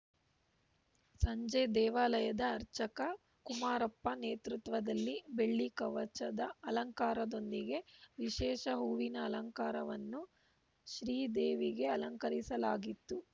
ಸಂಜೆ ದೇವಾಲಯದ ಅರ್ಚಕ ಕುಮಾರಪ್ಪ ನೇತೃತ್ವದಲ್ಲಿ ಬೆಳ್ಳಿ ಕವಚದ ಅಲಂಕಾರದೊಂದಿಗೆ ವಿಶೇಷ ಹೂವಿನ ಅಲಂಕಾರವನ್ನು ಶ್ರೀದೇವಿಗೆ ಅಲಂಕಾರಿಸಲಾಗಿತ್ತು